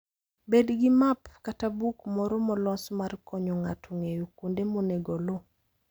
Bed gi map kata buk moro molos mar konyo ng'ato ng'eyo kuonde monego oluw.